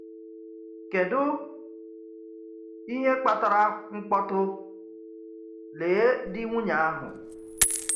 Kèdụ ihe kpatara mkpọtụ: Lee di nwunye ahụ!